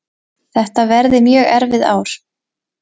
Þetta verði mjög erfið ár